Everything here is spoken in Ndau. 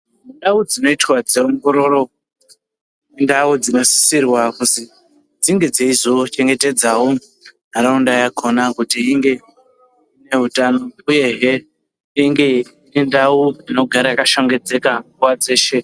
Ndau dzinoita dzeongororo indau dzinosisirwa kuzi dzinge dzeizochengetedzavo ntaraunda yakona kuti inge ine hutano, uyehe inge irindau inogara yakashongedzeka nguva dzeshe.